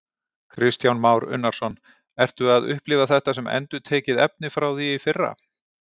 Kristján Már Unnarsson: Ertu að upplifa þetta sem endurtekið efni frá því í fyrra?